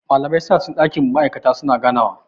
Malamai suna cikin dakin ma'aikata su na ganawa..